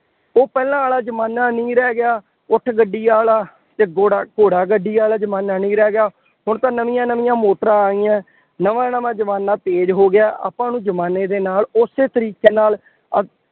ਉਹ ਪਹਿਲਾ ਵਾਲਾ ਜ਼ਮਾਨਾ ਨਹੀਂ ਰਹਿ ਗਿਆ। ਊਠ ਗੱਡੀ ਵਾਲਾ ਅਤੇ ਘੋੜਾ ਘੋੜਾ ਗੱਡੀ ਵਾਲਾ ਜ਼ਮਾਨਾ ਨਹੀਂ ਰਹਿ ਗਿਆ। ਹੁਣ ਤਾਂ ਨਵੀਆਂ ਨਵੀਆਂ ਮੋਟਰਾਂ ਆ ਗਈਆਂ, ਨਵਾਂ ਨਵਾਂ ਜ਼ਮਾਨਾ ਤੇਜ਼ ਹੋ ਗਿਆ। ਆਪਾਂ ਨੂੰ ਜ਼ਮਾਨੇ ਦੇ ਨਾਲ ਉਸੇ ਤਰੀਕੇ ਨਾਲ